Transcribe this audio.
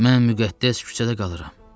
Mən müqəddəs küçədə qalıram.